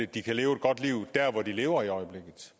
de kan leve et godt liv der hvor de lever i øjeblikket